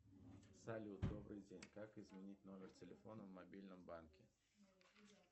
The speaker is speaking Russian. салют добрый день как изменить номер телефона в мобильном банке